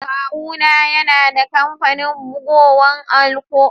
Kawu na yana da kampanin bugowa a'lkko.